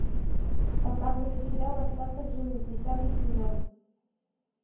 показывай сериал остаться в живых десятый сезон